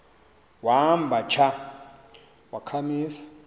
wamba tsha wakhamisa